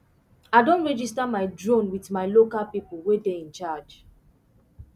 i don registar my drone with my local people wey dey in charge